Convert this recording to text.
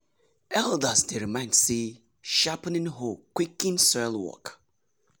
elders dey remind say sharpening hoe quickens soil work.